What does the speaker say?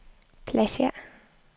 pladsér